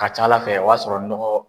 A ka ca Ala fɛ o y'a sɔrɔ nɔgɔ